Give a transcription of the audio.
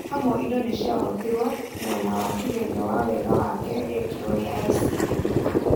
Hamwe indo nĩciahotirwe mwena wa kĩgerio wa wega wake riekirwe nĩ ICMR.